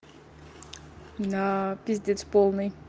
на пиздец полный